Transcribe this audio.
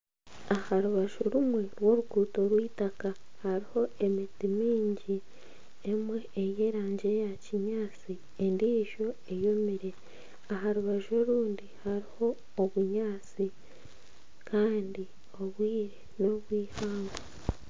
Aha rubaju rumwe rw'oruguuto rw'itaaka hariho emiti mingi emwe ey'erangi eya kinyaatsi endiijo eyomire aha rubaju orundi hariho obunyaatsi kandi obwire n'obwihangwe.